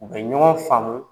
U bɛ ɲɔgɔn faamu